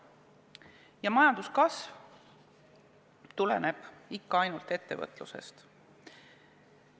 Ja majanduskasv tuleneb ikka ainult ettevõtlusest.